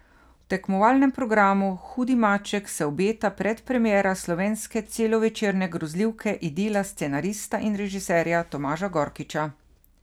V tekmovalnem programu hudi maček se obeta predpremiera slovenske celovečerne grozljivke Idila scenarista in režiserja Tomaža Gorkiča.